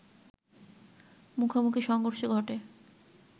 মুখোমুখি সংঘর্ষ ঘটে